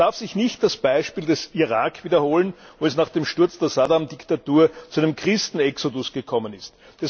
Es darf sich nicht das Beispiel des Irak wiederholen, wo es nach dem Sturz der Saddam Diktatur zu einem Christen Exodus gekommen ist.